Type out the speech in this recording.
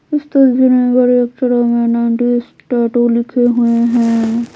इस तस्वीर में बड़े अक्षरों में नाइंटी टैटू लिखे हुए है।